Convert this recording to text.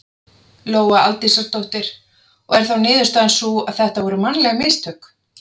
Lóa Aldísardóttir: Og er þá niðurstaðan sú að þetta voru mannleg mistök?